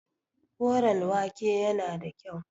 Koren wake yana da kyau.